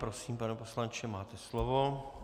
Prosím, pane poslanče, máte slovo.